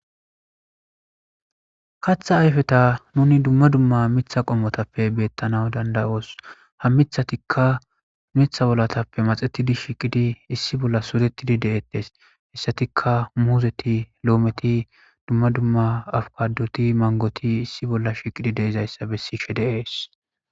kaaththa ayfeti nuni dumma dumma miiththa qommotappe beettana dandayoos. ha mithatikka miiththa bollatappe maxetidi shiqidi issi bolla suretidi de'ettes. hissatikka muuzeti lo'ometi dumma dumma afkadoti mangoti issi bolla shiqidi deizayssa besishe de7ees.